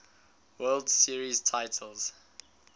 world series titles